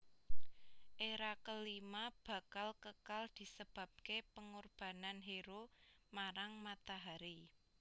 Era kelima bakal kekal disebabke pengorbanan hero marang matahari